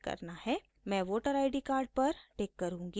मैं voter id card पर tick करुँगी